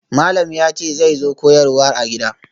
Malam yace gobe zai zo koyarwa gida.